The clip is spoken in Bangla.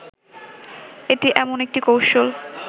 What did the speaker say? এটি এমন একটি কৌশল